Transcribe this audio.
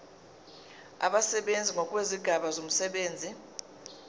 abasebenzi ngokwezigaba zomsebenzi